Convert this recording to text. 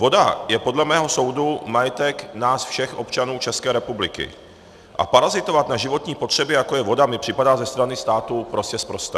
Voda je podle mého soudu majetek nás všech, občanů České republiky, a parazitovat na životní potřebě, jako je voda, mi připadá ze strany státu prostě sprosté.